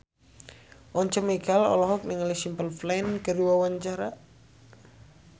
Once Mekel olohok ningali Simple Plan keur diwawancara